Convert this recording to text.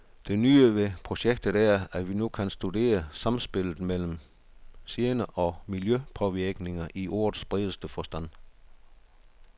Det nye ved projektet er, at vi nu kan studere samspillet mellem gener og miljøpåvirkninger i ordets bredeste forstand.